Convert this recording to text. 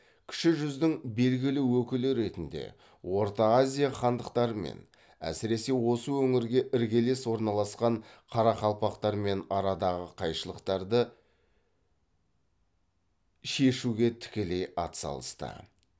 кіші жүздің белгілі өкілі ретінде орта азия хандықтарымен әсіресе осы өңірге іргелес орналасқан қарақалпақтармен арадағы қайшылықтарды шешуге тікелей атсалысты